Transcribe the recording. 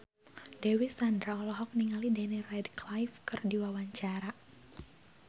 Dewi Sandra olohok ningali Daniel Radcliffe keur diwawancara